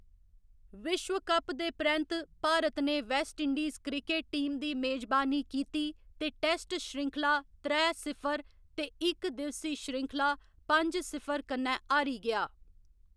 विश्व कप दे परैंत्त, भारत ने वेस्टइंडीज क्रिकेट टीम दी मेजबानी कीती ते टैस्ट श्रृंखला त्रै सिफर ते इक दिवसी श्रृंखला पंज सिफर कन्नै हारी गेआ।